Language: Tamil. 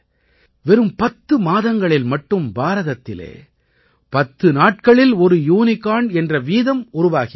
வெறும் 10 மாதங்களில் மட்டும் பாரதத்திலே பத்து நாட்களில் ஒரு யூனிகார்ன் என்ற வீதம் உருவாகியிருக்கிறது